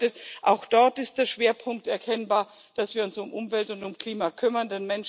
Das bedeutet Auch dort ist der Schwerpunkt erkennbar, dass wir uns um Umwelt und um Klima kümmern.